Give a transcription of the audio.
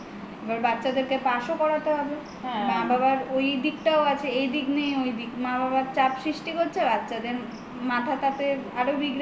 এবার বাচ্ছাদের কে pass ও করাতে হবে মা বাবার ঐদিকটা আছে এইদিক নেই ঐদিক মা-বাবা চাপ সৃষ্ঠি করছে বাচ্ছাদের মাথা আরো বিগড়ে